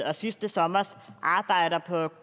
og sidste sommers arbejder på